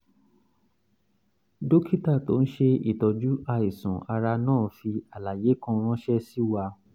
dókítà tó ń ṣe ìtọ́jú àìsàn ara náà fi àlàyé kan ránṣẹ́ sí wa